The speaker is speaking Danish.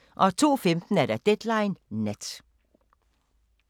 02:15: Deadline Nat